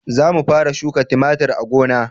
Za mu fara shuka tumatir a gona